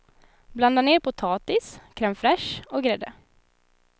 Blanda ner potatis, crème fraîche och grädde.